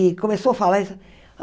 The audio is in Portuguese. E começou a falar isso.